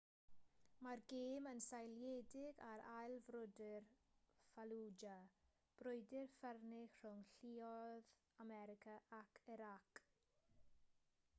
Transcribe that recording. mae'r gêm yn seiliedig ar ail frwydr fallujah brwydr ffyrnig rhwng lluoedd america ac irac